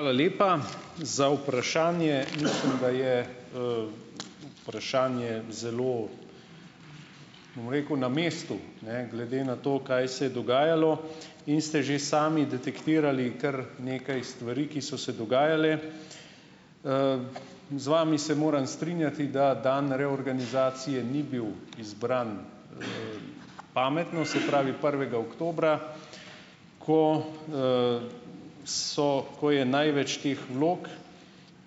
Hvala lepa za vprašanje. Mislim, da je, vprašanje zelo, bom rekel, na mestu, ne, glede na to, kaj se je dogajalo in ste že sami detektirali kar nekaj stvari, ki so se dogajale. Z vami se morem strinjati, da dan reorganizacije ni bil izbran, pametno, se pravi prvega oktobra, ko, so, ko je največ teh vlog.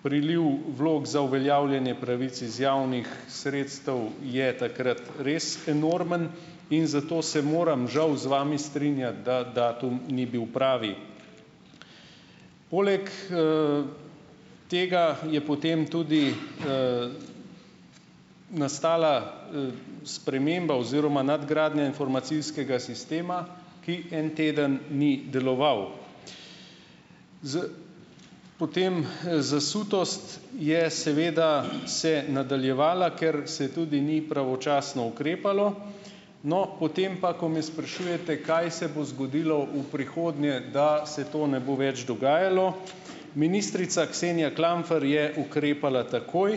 Priliv vlog za uveljavljane pravic iz javnih sredstev je takrat res enormen in zato se moram žal z vami strinjati, da datum ni bil pravi. Poleg, tega je potem tudi, nastala, sprememba oziroma nadgradnja informacijskega sistema, ki en teden ni deloval. Z ... Potem, zasutost je seveda se nadaljevala, ker se tudi ni pravočasno ukrepalo. No, potem pa, ko me sprašujete, kaj se bo zgodilo v prihodnje, da se to ne bo več dogajalo. Ministrica Ksenija Klamfer je ukrepala takoj,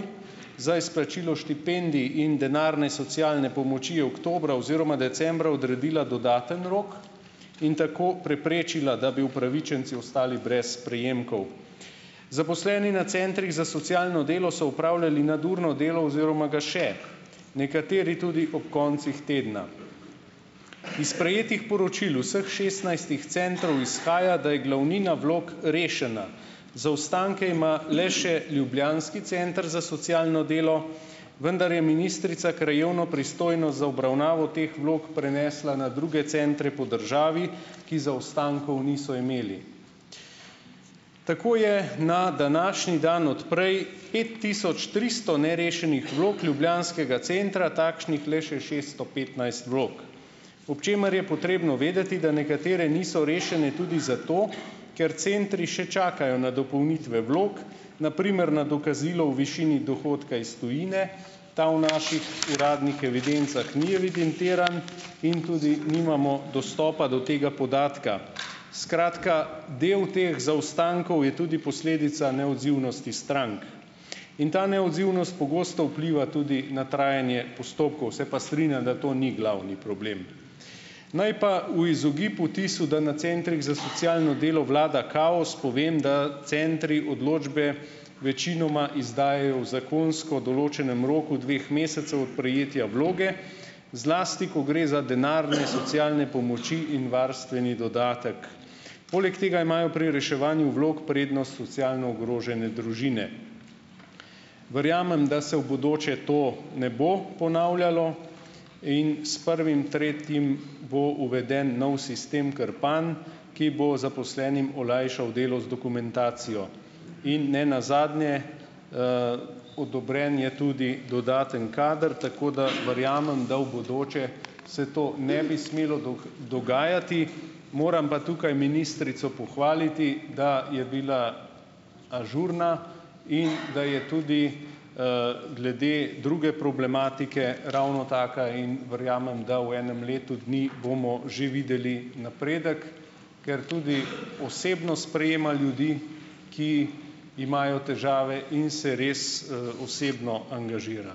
za izplačilo štipendij in denarne socialne pomoči oktobra oziroma decembra odredila dodaten rok in tako preprečila, da bi upravičenci ostali brez prejemkov. Zaposleni na centrih za socialno delo so opravljali nadurno delo oziroma ga še, nekateri tudi ob koncih tedna. Iz prejetih poročil vseh šestnajstih centrov izhaja, da je glavnina vlog, rešena, zaostanke ima le še ljubljanski center za socialno delo, vendar je ministrica krajevno pristojnost za obravnavo teh vlog prenesla na druge centre po državi, ki zaostankov niso imeli. Tako je na današnji dan od prej pet tisoč tristo nerešenih vlog ljubljanskega centra, takšnih le še šeststo petnajst vlog, ob čemer je potrebno vedeti, da nekatere niso rešene tudi zato, ker centri še čakajo na dopolnitve vlog, na primer na dokazilo o višini dohodka iz tujine; ta v naših uradnih evidencah ni evidentiran in tudi nimamo dostopa do tega podatka. Skratka, del teh zaostankov je tudi posledica neodzivnosti strank in ta neodzivnost pogosto vpliva tudi na trajanje postopkov. Se pa strinjam, da to ni glavni problem. Naj pa v izogib vtisu, da na centrih za socialno delo vlada kaos, povem, da centri odločbe večinoma izdajajo v zakonsko določnem roku dveh mesecev od prejetja vloge, zlasti ko gre za denarne socialne pomoči in varstveni dodatek. Poleg tega imajo pri reševanju vlog prednost socialno ogrožene družine. Verjamem, da se v bodoče to ne bo ponavljalo in s prvim tretjim bo uveden nov sistem Krpan, ki bo zaposlenim olajšal delo z dokumentacijo in nenazadnje - odobren je tudi dodaten kader, tako da verjamem, da v bodoče se to ne bi smelo dogajati. Moram pa tukaj ministrico pohvaliti, da je bila ažurna in da je tudi, glede druge problematike ravno taka in verjamem, da v enem letu dni bomo že videli napredek, ker tudi osebno sprejema ljudi, ki imajo težave in se res, osebno angažira.